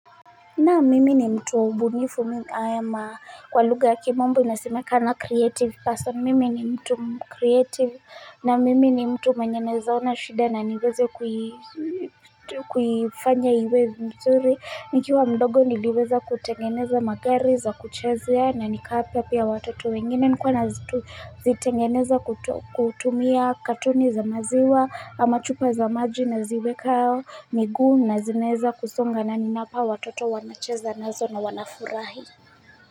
Naam mimi ni mtu mbunifu mimi ama kwa lugha ya kimombo inasimekana creative person mimi ni mtu creative na mimi ni mtu naweza ona shida na niweze kuifanya iwezi mzuri nikiwa mdogo niliweza kutengeneza magari za kuchezea na nikapea pia watoto wengine nikuwa na zitengeneza kutumia katoni za maziwa ama chupa za maji na ziweka miguu na zinaeza kusonga na ninapa watoto wanacheza na zona wanafurahi.